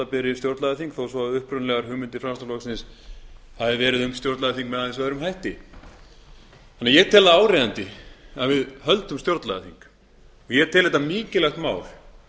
beri stjórnlagaþing þó að upprunalegar hugmyndir framsóknarflokksins hafi verið um stjórnlagaþing með aðeins öðrum hætti ég tel áríðandi að við höldum stjórnlagaþing og ég tel þetta mikilvægt mál